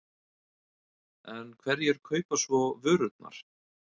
En hverjir kaupa svo vörurnar?